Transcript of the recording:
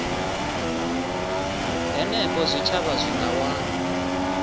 henefho zwitshavha zwi nga wana